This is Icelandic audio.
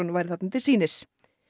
væri þarna til sýnis